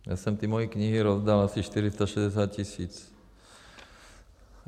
Já jsem ty moje knihy rozdal, asi 460 tisíc.